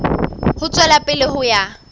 ho tswela pele ho ya